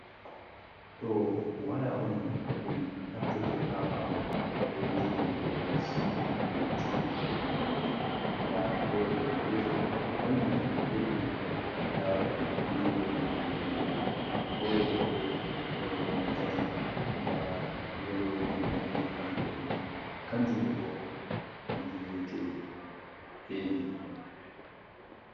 Ɗo waya on dum naftirte ha bawo rediyo ko sidi ko tibi ko hunde bere da hore do gotel kanjum tan he’ini laruki vidiyo be nanugo wolde hore do bo do nonne tati da yalodi danejum wodi bodejum njudo bo kanjum wiyete evy.